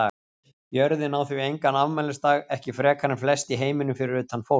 Jörðin á því engan afmælisdag, ekki frekar en flest í heiminum fyrir utan fólk.